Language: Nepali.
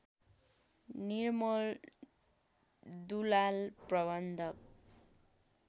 निर्मल दुलाल प्रबन्धक